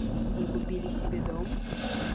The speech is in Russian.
вы купили себе дом